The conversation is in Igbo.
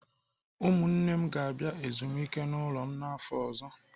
Ụmụ nwanne m ga-abịa ezumike n'ụlọ m n'afọ ọzọ.